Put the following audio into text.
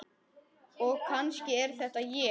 Og kannski er þetta ég.